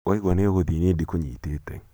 waigua nĩ ugũthiĩ nĩĩ ndikũnyitĩte